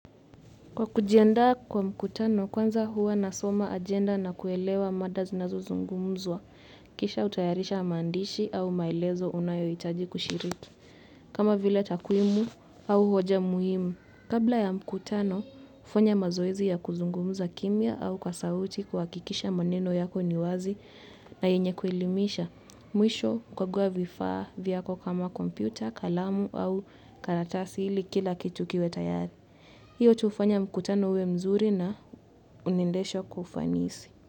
Kwa kujiandaa kwa mkutano, kwanza huwa nasoma ajenda na kuelewa mada zinazo zungumzwa, kisha hutayarisha maandishi au maelezo unayo hitaji kushiriki, kama vile takwimu au hoja muhimu. Kabla ya mkutano, hufanya mazoezi ya kuzungumza kimya au kwa sauti kuhakikisha maneno yako ni wazi na yenye kuelimisha, mwisho kukagua vifaa vyako kama kompyuta, kalamu au karatasi ili kila kitu kiwe tayari. Hiyo tufanye mkutano uwe mzuri na unaendeshwa kufanisi.